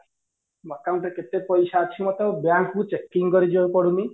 ମୋ account ରେ କେତେ ପଇସା ଅଛି ମତେ ଆଉ bank କୁ checking କରି ଯିବାକୁ ପଡୁନି